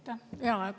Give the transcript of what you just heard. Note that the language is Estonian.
Aitäh!